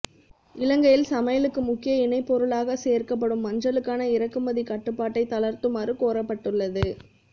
இலங்கையில் சமையலுக்கு முக்கிய இணைப்பொருளாக சேர்க்கப்படும் மஞ்சளுக்கான இறக்குமதி கட்டுப்பாட்டை தளர்த்துமாறு கோரப்பட்டுள்ளது